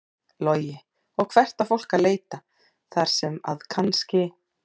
Logi: Og hvert á fólk að leita þar sem að kannski?